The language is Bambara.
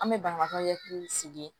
An bɛ banabagatɔ hakili sigi